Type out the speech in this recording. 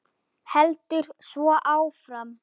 Heldur svo áfram